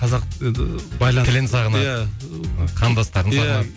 қазақ енді тілін сағынады иә ы қандастарын сағынады иә